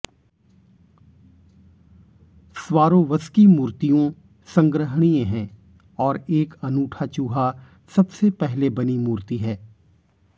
Swarovski मूर्तियों संग्रहणीय हैं और एक अनूठा चूहा सबसे पहले बनी मूर्ति है